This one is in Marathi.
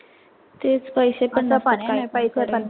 तेच पैशे पण पाहिजे पैसे पण